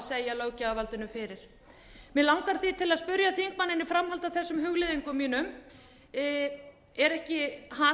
segja löggjafarvaldið fyrir mig langar því til að spyrja þingmanninn í framhaldi af þessum hugleiðingum mínum er hann ekki